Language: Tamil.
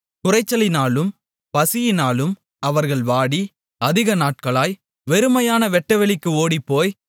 குறைச்சலினாலும் பசியினாலும் அவர்கள் வாடி அதிக நாட்களாய் வெறுமையான வெட்டவெளிக்கு ஓடிப்போய்